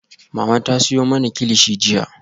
Mama ta siyo mana kilichi jiya